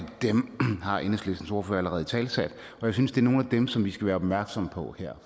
dem har enhedslistens ordfører allerede italesat og jeg synes det er nogle af dem som vi skal være opmærksomme på her